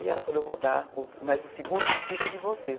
E ela falou, eu vou dar, mas o segundo filho é de vocês.